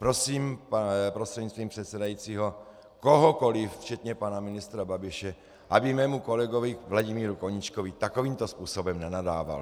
Prosím prostřednictvím předsedajícího kohokoli, včetně pana ministra Babiše, aby mému kolegovi Vladimíru Koníčkovi takovýmto způsobem nenadával.